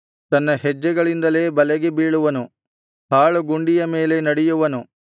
ತನ್ನ ಹೆಜ್ಜೆಗಳಿಂದಲೇ ಬಲೆಗೆ ಬೀಳುವನು ಹಾಳು ಗುಂಡಿಯ ಮೇಲೆ ನಡೆಯುವನು